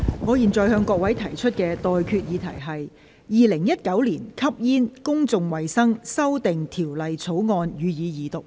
我現在向各位提出的待決議題是：《2019年吸煙條例草案》，予以二讀。